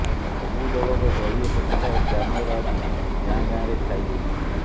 ସବୁ ଦଳର ଦଳୀୟ ପତାକା ଓ ବ୍ୟାନର ଆଦି ଗାଁ ଗାଁରେ ଛାଇ ଯାଇଛି